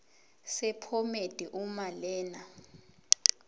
sephomedi uma lena